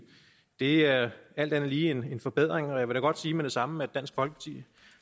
det er alt andet lige en forbedring og jeg vil da godt sige med det samme at dansk folkeparti